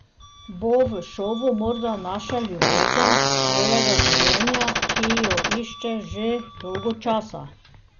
Bo v šovu morda našel ljubezen svojega življenja, ki jo išče že dolgo časa?